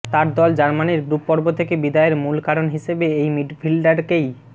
তার দল জার্মানির গ্রুপ পর্ব থেকে বিদায়ের মূল কারণ হিসেবে এই মিডফিল্ডারকেই